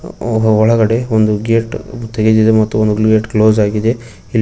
ಹಾಗೂ ಒಳಗಡೆ ಒಂದು ಗೇಟ್ ತೆಗೆದಿದೆ ಮತ್ತು ಒಂದು ಗೇಟ್ ಕ್ಲೋಸ್ ಆಗಿದೆ ಇಲ್ಲಿ --